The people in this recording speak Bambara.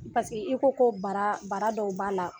Paseke i ko ko bara bara dɔw b'a la.